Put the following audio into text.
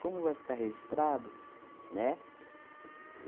Como vai ficar registrado, né,